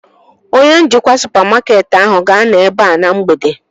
Onye njikwa supamakeetị ahụ ga-anọ ebea na mgbede